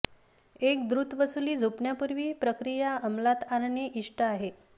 एक द्रुत वसुली झोपण्यापूर्वी प्रक्रिया अमलात आणणे इष्ट आहे